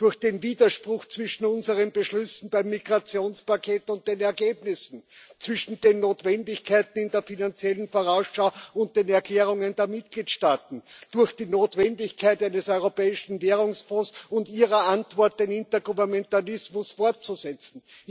durch den Widerspruch zwischen unseren Beschlüssen beim Migrationspaket und den Ergebnissen, zwischen den Notwendigkeiten in der finanziellen Vorausschau und den Erklärungen der Mitgliedstaaten, durch die Notwendigkeit eines Europäischen Währungsfonds und Ihre Antwort, den Intergouvernementalismus fortzusetzen.